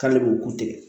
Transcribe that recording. K'ale b'u ku tigɛ